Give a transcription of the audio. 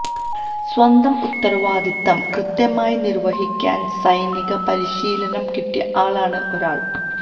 സ്വന്തം ഉത്തരവാദിത്തം കൃത്യമായി നിര്വഹിക്കാന് സൈനിക പരിശീലനം കിട്ടിയ ആളാണ് ഒരാള്